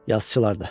Yazıçılar da.